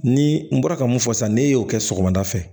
Ni n bɔra ka mun fɔ sisan ne y'o kɛ sɔgɔmada fɛ